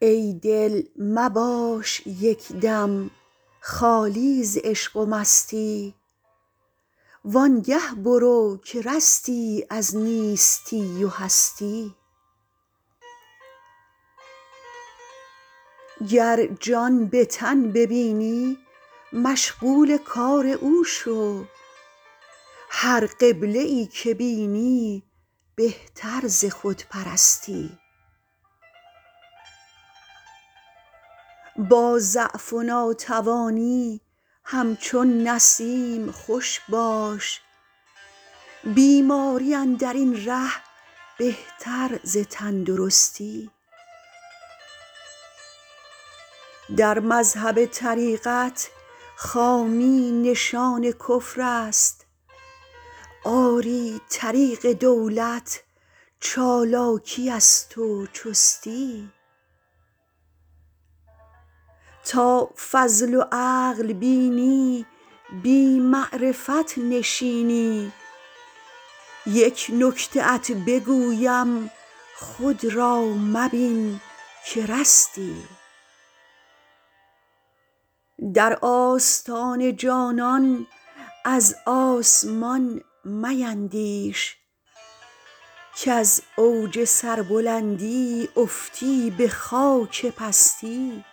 ای دل مباش یک دم خالی ز عشق و مستی وان گه برو که رستی از نیستی و هستی گر جان به تن ببینی مشغول کار او شو هر قبله ای که بینی بهتر ز خودپرستی با ضعف و ناتوانی همچون نسیم خوش باش بیماری اندر این ره بهتر ز تندرستی در مذهب طریقت خامی نشان کفر است آری طریق دولت چالاکی است و چستی تا فضل و عقل بینی بی معرفت نشینی یک نکته ات بگویم خود را مبین که رستی در آستان جانان از آسمان میندیش کز اوج سربلندی افتی به خاک پستی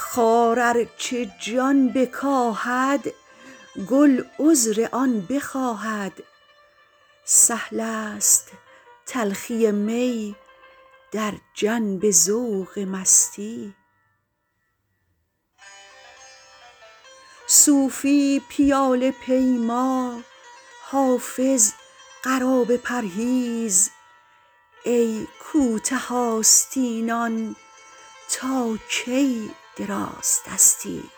خار ار چه جان بکاهد گل عذر آن بخواهد سهل است تلخی می در جنب ذوق مستی صوفی پیاله پیما حافظ قرابه پرهیز ای کوته آستینان تا کی درازدستی